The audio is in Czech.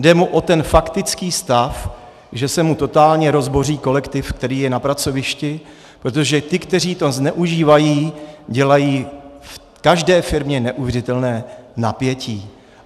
Jde mu o ten faktický stav, že se mu totálně rozboří kolektiv, který je na pracovišti, protože ti, kteří to zneužívají, dělají v každé firmě neuvěřitelné napětí.